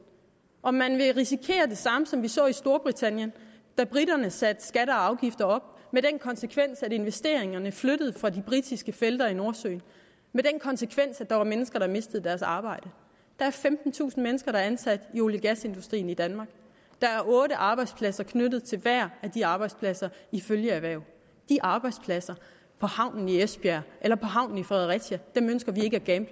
om man vil risikere det samme som vi så i storbritannien da briterne satte skatter og afgifter op med den konsekvens at investeringerne flyttede fra de britiske felter i nordsøen med den konsekvens at der var mennesker der mistede deres arbejde der er femtentusind mennesker der er ansat i olie gas industrien i danmark der er otte arbejdspladser knyttet til hver af de arbejdspladser i følgeerhverv de arbejdspladser på havnen i esbjerg eller havnen i fredericia ønsker vi ikke at